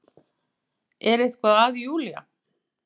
Er eitthvað að Júlía?